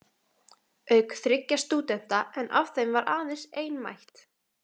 Auk þriggja stúdenta en af þeim var aðeins ein mætt.